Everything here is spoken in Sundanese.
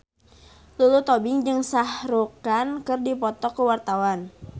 Lulu Tobing jeung Shah Rukh Khan keur dipoto ku wartawan